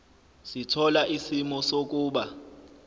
sithola isimo sokuba